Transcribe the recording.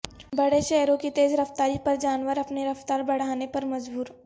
بڑے شہروں کی تیز رفتاری پر جانور اپنی رفتاربڑھانے پر مجبور